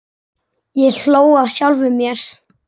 Ég hló að sjálfum mér.